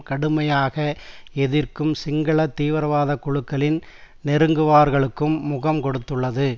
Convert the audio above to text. கடுமையாக எதிர்க்கும் சிங்கள தீவிரவாத குழுக்களின் நெருங்குவாரங்களுக்கும் முகம் கொடுத்துள்ளது